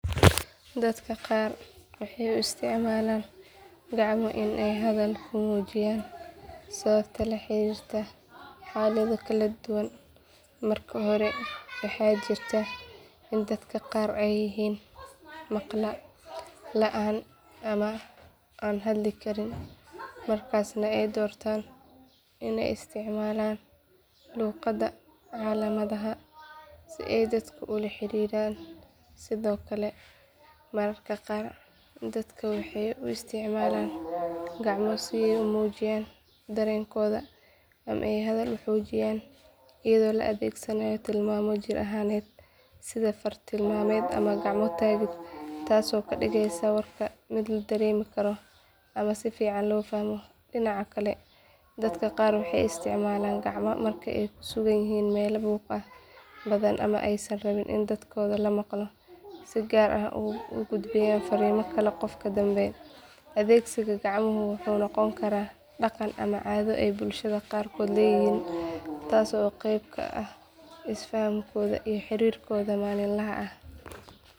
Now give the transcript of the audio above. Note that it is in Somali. Dadka qar waxay u isticmaalaan gacmo inay hadal ku muujiyaan sababta la xiriirta xaalado kala duwan. Marka hore, waxa jirta in dadka qar yihiin maqallaan ama aan hadli karin, markaasna waxay doorbidaan inay isticmaalaan luqadda gacmaha si ay dadka ula xiriiraan. Sidoo kale, marka qaar dadka waxay u isticmaalaan gacmo si ay u muujiyaan dareenkooda ama ay hadal u xoojiyaan iyagoo adeegsanaya tilmaamo jireed, sida far tilmaamood ama gacmo taagid, taasoo warka ka dhigaysa mid la dareemi karo ama la fahmi karo. Dhinaca kale, dadka qar waxay isticmaalaan gacmo marka ay ku sugan yihiin meelo buuq badan ama aysan rabin in codkooda la maqlo si gaar ah ugu gudbiyaan fariin ruuxa ka dambeeyo. Adeegsiga gacmaha wuxuu noqon karaa dhaqan ama caddo ay bulshada qaar leeyihiin taasoo qeyb ka ah isfahankooda iyo xiriirkooda maalinlaha ah.